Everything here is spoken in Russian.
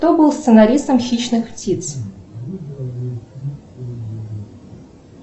кто был сценаристом хищных птиц